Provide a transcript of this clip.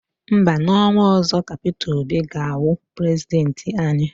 Mba, n'ọnwa ọzọ ka Peter Obi ga-awụ prezidenti anyị.